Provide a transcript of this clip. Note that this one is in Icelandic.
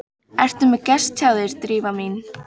Ertu með gest hjá þér, Drífa mín?